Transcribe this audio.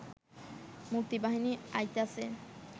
মুক্তিবাহিনী আইতাছে